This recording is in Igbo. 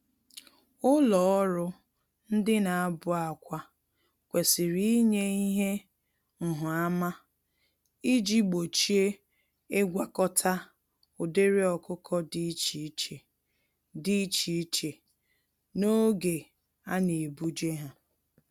Ụlọ ọrụ ndị nabụ-akwá kwesịrị ịnye ihe nhụ-ama iji gbochie ịgwakọta ụdịrị ọkụkọ dị iche iche dị iche iche n'oge anebuje há.